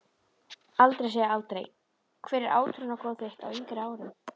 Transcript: Aldrei segja aldrei Hver var átrúnaðargoð þitt á yngri árum?